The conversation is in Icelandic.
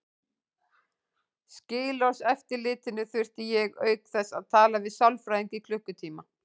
Skilorðseftirlitinu þurfti ég auk þess að tala við sálfræðing í klukkutíma.